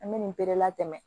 An bɛ nin bɛɛ latɛmɛ